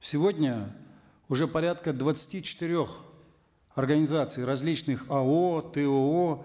сегодня уже порядка двадцати четырех организаций различных ао тоо